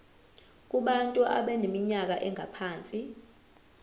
kubantu abaneminyaka engaphansi